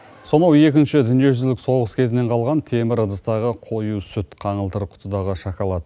сонау екінші дүниежүзілік соғыс кезінен қалған темір ыдыстағы қою сүт қаңылтыр құтыдағы шоколад